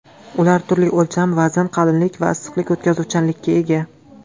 Ular turli o‘lcham, vazn, qalinlik va issiqlik o‘tkazuvchanlikka ega.